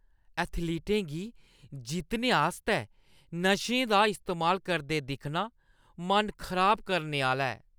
एथलीटें गी जित्तने आस्तै नशें दा इस्तेमाल करदे दिक्खना मन खराब करने आह्‌ला ऐ।